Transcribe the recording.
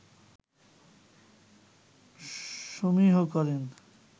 সমীহ করেন